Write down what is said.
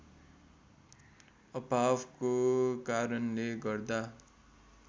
अभावको कारणले गर्दा